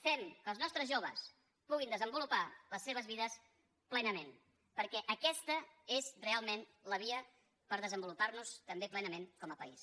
fem que els nostres joves puguin desenvolupar les seves vides plenament perquè aquesta és realment la via per desenvolupar nos també plenament com a país